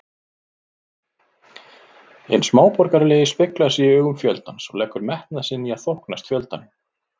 Hinn smáborgaralegi speglar sig í augum fjöldans og leggur metnað sinn í að þóknast fjöldanum.